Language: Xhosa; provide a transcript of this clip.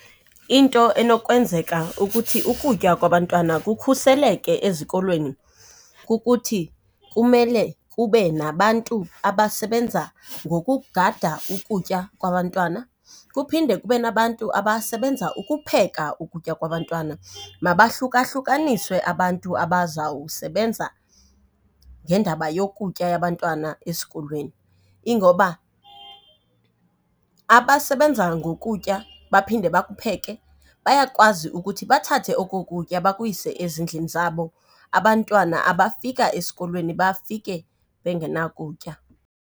Into enokwenzeka ukuthi ukutya kwabantwana kukhuseleke ezikolweni kukuthi kumele kube nabantu abasebenza ngokugada ukutya kwabantwana. Kuphinde kube nabantu abasebenza ukupheka ukutya kwabantwana. Mabahlukahlukaniswe abantu abazawusebenza ngendaba yokutya yabantwana esikolweni ingoba abasebenza ngokutya baphinde bakupheke bayakwazi ukuthi bathathe oko kutya bakuyise ezindlini zabo, abantwana abafika esikolweni bafike bengenakutya.